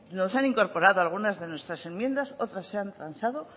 nos han incorporado algunas de nuestras enmiendas otras se han transado